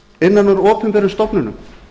innan úr opinberum stofnunum